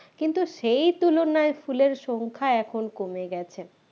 কিন্তু সেই তুলনায় ফুলের সংখ্যা এখন কমে গেছে